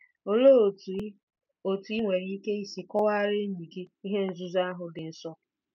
Olee otú i otú i nwere ike isi kọwaara enyi gị ihe nzuzo ahụ dị nsọ?